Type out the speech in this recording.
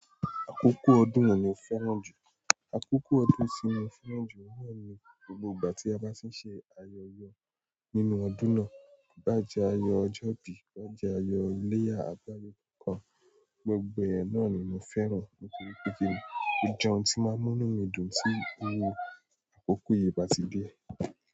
Àkókò ọdún wo ni o fẹ́ràn jù? Àkókò ọdún tì mo fẹ́ràn jù oun na ní gbogbo ìgbà tí a bá sì ń ṣe ayẹyẹ nínú ọdún náà. Bí bá jẹ́ ayọ ọjọ́bí, bí bá jẹ́ ayọ̀ ìleyá, àgbáyé kankan, gbogbo ẹ̀ náà ni mo fẹ́ràn nítorí pé kíni, o jẹ oun tí máa ń mú mí dùn tí iru àkókò yìí bá ti dé.